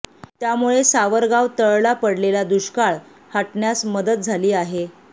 त्यामुळे सावरगाव तळला पडलेला दुष्काळ हटण्यास मदत झाली आहे